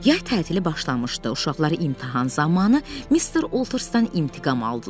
Yay tətili başlamışdı, uşaqlar imtahan zamanı Mister Oltsterdən intiqam aldılar.